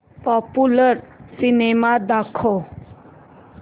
popular cinema दाखव